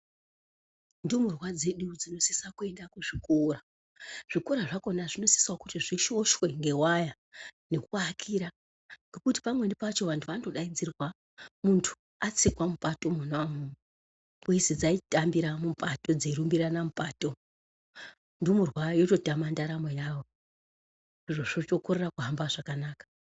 Ndumurwa dzedu dzinosisa kuenda kuzvikora , zvikora zvakona zvinosisa kuti zvikoshoshwe ngewaya ngekuakira ngekuti pamweni pacho vantu vanondodaidzirwa muntu atsikwa mupato monaumomo kweizi dzaitambira mupato, veirbirirana mupato ndumurwa yototama ndaramo yayo zviro zvotokorera kuhamba zvakanaka.